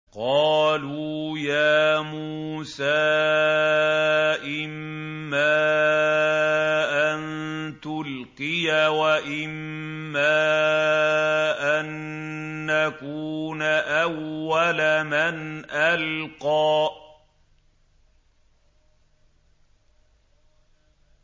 قَالُوا يَا مُوسَىٰ إِمَّا أَن تُلْقِيَ وَإِمَّا أَن نَّكُونَ أَوَّلَ مَنْ أَلْقَىٰ